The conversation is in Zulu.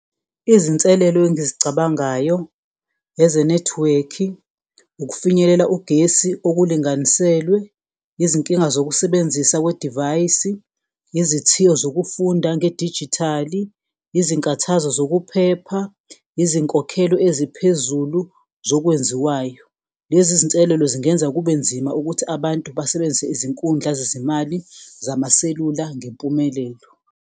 Izinselelo engizicabangayo ezenethiwekhi, ukufinyelela ugesi okulinganiselwe, izinkinga zokusebenzisa kwedivayisi, izithiyo zokufunda ngedijithali, izinkathazo zokuphepha, izinkokhelo eziphezulu zokwenziwayo. Lezi zinselelo zingenza kube nzima ukuthi abantu basebenzise izinkundla zezimali zamaselula ngempumelelo.